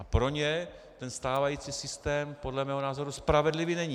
A pro ně ten stávající systém podle mého názoru spravedlivý není.